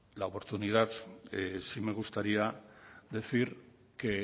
la oportunidad sí me gustaría decir que